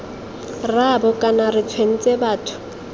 rraabo kana re tshwentse batho